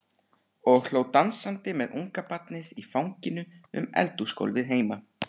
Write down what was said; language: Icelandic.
Og hló dansandi með ungabarnið í fanginu um eldhúsgólfið heima.